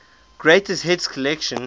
greatest hits collection